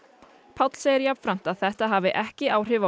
Páll segir jafnframt að þetta hafi ekki áhrif á